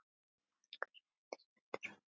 Margur henni stendur á.